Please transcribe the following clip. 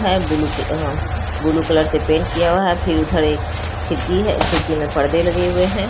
हैं blue colour blue colour से paint किया हुआ है फिर उधर एक खिड़की है खिड़की में परदे लगे हुए हैं।